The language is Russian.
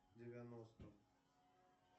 девяносто